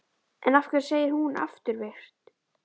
En af hverju segir hún afturvirkt?